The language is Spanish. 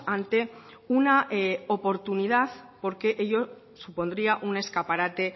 ante una oportunidad porque ello supondría un escaparate